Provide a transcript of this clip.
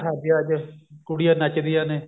ਸ਼ਾਦੀਆਂ ਚ ਕੁੜੀਆਂ ਨੱਚਦੀਆਂ ਨੇ